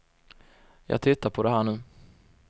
Jag tittar på det här nu.